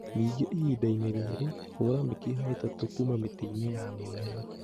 Ningĩ ihinda-inĩ rĩrĩ, hũra mĩkiha ĩtatũ kuuma mĩtĩ-inĩ ya mĩmera